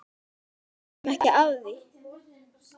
Við vitum ekki af því.